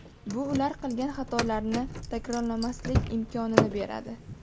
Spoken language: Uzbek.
Bu ular qilgan xatolarni takrorlamaslik imkonini beradi.